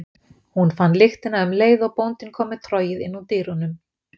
Hún fann lyktina um leið og bóndinn kom með trogið inn úr dyrunum.